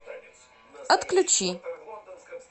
отключи